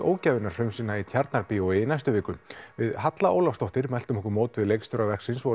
ógæfunnar frumsýna í Tjarnarbíói í næstu viku við Halla Ólafsdóttur mæltum okkur mót við leikstjóra verksins og